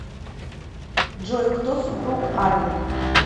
джой кто супруг арвен